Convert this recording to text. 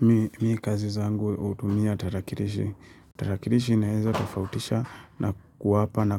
Mimi kazi zangu hutumia tarakilishi. Tarakilishi inaeza tofautisha na kuwapa na